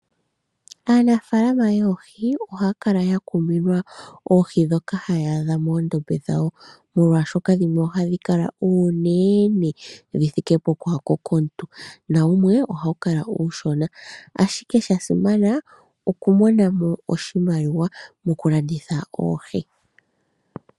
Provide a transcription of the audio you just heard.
Aanafaalama yoohi ohaya kala yakuminwa oohi ndhoka haya adha moondombe dhawo molwaashoka dhimwe ohadhi kala oonene dhi thike pokwaako komuntu ,wumwe ohawukala uushona ashike shasimana okumonamo oshimaliwa moku landitha oohi .